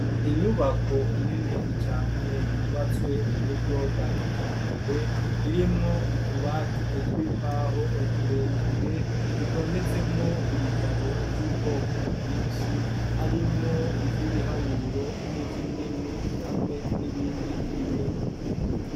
Inyubako nini cane yubatswe mu buryo bwa kijambere irimwo utubati tw'imbaho tureture dutondetsemwo ibitabo vy'ubwoko bwishi harimwo ivyibiharuro n'ivyindimi hamwe n'ibindi n'ibindi.